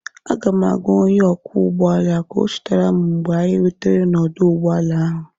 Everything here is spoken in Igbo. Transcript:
Aga m agwa onye ọkwọ ụgbọ ala ka ọ chetara m mgbe anyị rutere n'ọdụ ụgbọ ala ahụ